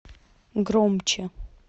громче